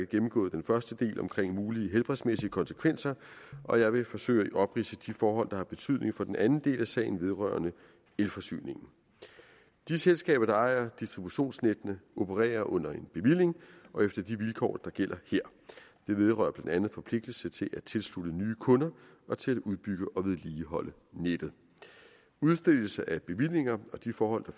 gennemgået den første del omkring mulige helbredsmæssige konsekvenser og jeg vil forsøge at opridse de forhold der har betydning for den anden del af sagen vedrørende elforsyningen de selskaber der ejer distributionsnettene opererer under en bevilling og efter de vilkår der gælder her det vedrører blandt andet forpligtelse til at tilslutte nye kunder og til at udbygge og vedligeholde nettet udstedelse af bevillinger og de forhold